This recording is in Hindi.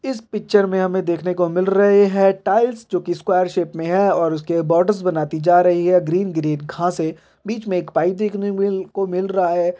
इस पिक्चर में हमें देखने को मिल रहे है टाइल्स जो की स्क्वायर शेप में है और उसके बोर्डर बनती जा रही है ग्रीन ग्रीन घासे बीच में एक पाइप देखने को मिल रहा है।